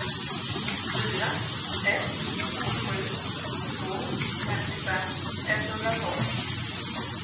fyra ett sju två femtiofem etthundratolv